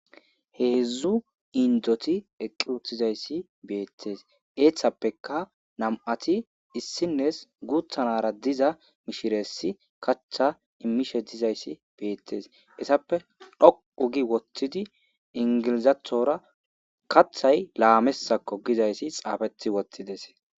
Heedzu indoti eqqi uttidayssi betees. Izetappekka nam'ati issinessi guutha nara diza mishiresi kaththa immishe dizayssi beteesi. Hessappe dhoqqugi woththidi ingelezethora kaththay laamesakko gizayssa xaafeti woththides.